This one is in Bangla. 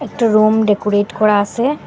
একটা রুম ডেকোরেট করা আসে।